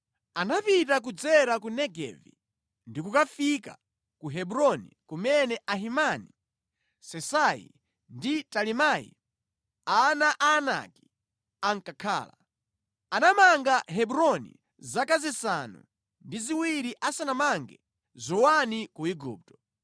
Anapita kudzera ku Negevi ndi kukafika ku Hebroni, kumene Ahimani, Sesai ndi Talimai, ana a Anaki ankakhala. (Anamanga Hebroni zaka zisanu ndi ziwiri asanamange Zowani ku Igupto).